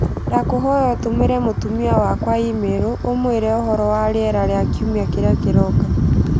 ndakũhoya ũtũmĩre mũtumia wakwa i-mīrū ũmuire ũhoro wa rĩera rĩa kiumia kĩrĩa kĩroka